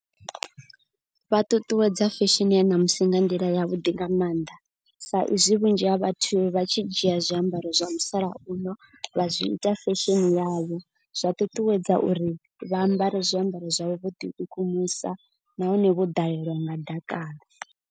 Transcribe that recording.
Vha ṱuṱuwedza fesheni ya ṋamusi nga nḓila ya vhuḓi nga maanḓa. Sa izwi vhunzhi ha vhathu vha tshi dzhia zwiambaro zwa musalauno vha zwi ita fashion yavho. Zwa ṱuṱuwedza uri vha ambare zwiambaro zwauḓi kukumusa nahone vho ḓalelwa nga dakalo.